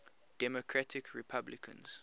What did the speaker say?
democratic republicans